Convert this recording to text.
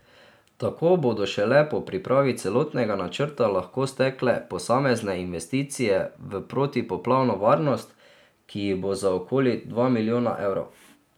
Tako bodo šele po pripravi celotnega načrta lahko stekle posamezne investicije v protipoplavno varnost, ki jih bo za okoli dva milijona evrov.